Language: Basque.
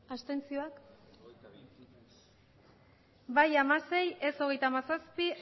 abstentzioak bai hamasei ez hogeita hamazazpi